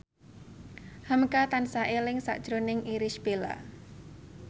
hamka tansah eling sakjroning Irish Bella